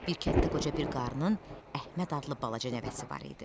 Bir kənddə qoca bir qarının Əhməd adlı balaca nəvəsi var idi.